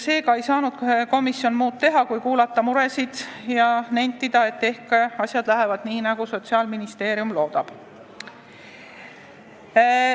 Seega ei saanud komisjon muud teha, kui kuulata muresid ja nentida, et ehk asjad lähevad nii, nagu Sotsiaalministeerium loodab.